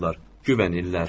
Güvənirlər.